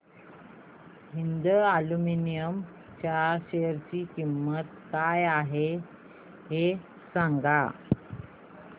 Hind aluminium च्या share ची किंमत काय आहे हे सांगा